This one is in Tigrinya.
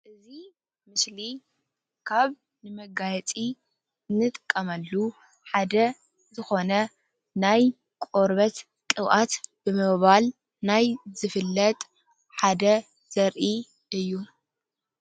እዚ ምስሊ ካብ ንመጋየፂ ንጥቀመሉ ሓደ ዝኾነ ናይ ቆርበት ቅብአት ብምባል ናይ ዝፈለጥ ሓደ ዘሪኢ እዩ፡፡